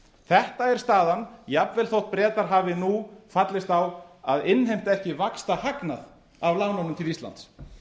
þetta er staðan jafnvel þótt bretar hafi nú fallist á að innheimta ekki vaxtahagnað af lánunum til íslands